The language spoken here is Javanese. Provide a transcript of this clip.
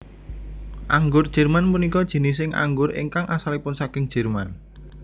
Anggur Jerman punika jinising anggur ingkang asalipun saking Jerman